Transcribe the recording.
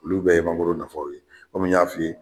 Olu bɛɛ ye mangoro nafaw ye, kɔmi n y'a f'i ye.